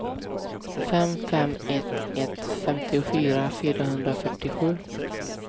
fem fem ett ett femtiofyra fyrahundrafyrtiosju